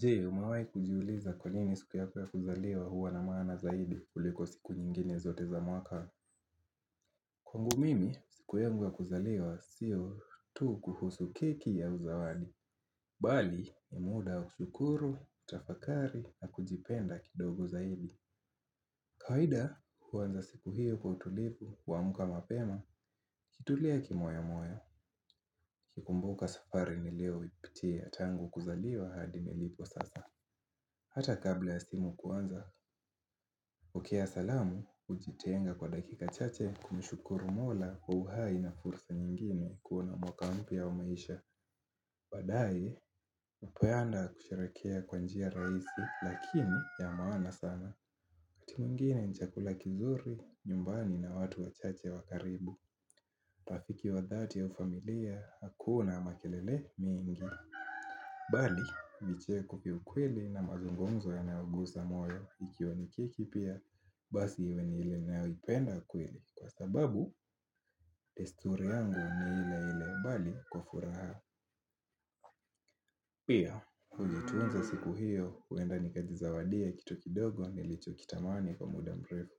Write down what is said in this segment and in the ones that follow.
Je? Umewaai kujiuliza kwa nini siku yako ya kuzaliwa huwa na maana zaidi kuliko siku nyingine zote za mwaka? Kwangu mimi, siku yangu ya kuzaliwa sio tu kuhusu keki au uzawali. Bali ni muda wa kushukuru, tafakari na kujipenda kidogo zaidi. Kawaida huanza siku hiyo kwa utulivu kuamka mapema. Kutulia kimoyo moyo, nikikumbuka safari nilioipitia tangu kuzaliwa hadi nilipo sasa. Hata kabla ya simu kuanza, pokea salamu, ujitenga kwa dakika chache kumshukuru mola kwa uhai na fursa nyingine kuona mwaka umpya wa maisha. Baadae, mnapoenda kusherekea kwa njia raisi, lakini ya maana sana. Kitu ingine ni chakula kizuri, nyumbani na watu wachache wa karibu. Rafiki wa dhati au familia, hakuna makelele mingi. Bali, vicheko vya ukweli na mazungumzo yanayoguza moyo, ikiwa ni kiki pia, basi iwe ni ile inayoipenda kweli kwa sababu, desturi yangu ni ile ile bali kwa furaha. Pia, ujitunza siku hiyo, huenda nikajizawadia kitu kidogo nilichokitamani kwa muda mrefu.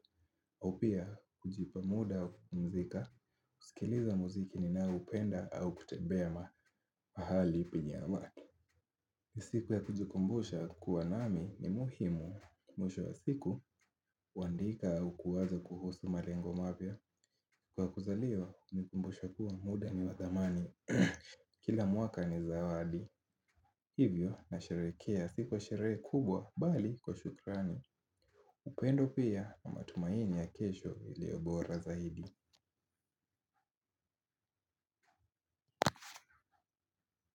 Au pia, ujipa muda wa kupumzika, kusikiliza muziki ninaoupenda au kutembea mahali penye amani. Siku ya kujikumbusha kuwa nami ni muhimu, mwisho ya siku, huandika uwaze kuhusu malengo mapya. Kwa kuzaliwa, hunikumbusha kuwa muda ni wa thamani. Kila mwaka ni zawadi. Hivyo, nasherekea siku ya sherehe kubwa, bali kwa shukrani. Upendo pia na matumaini ya kesho iliyo bora zaidi.